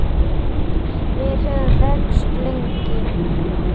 Við höfum þekkst lengi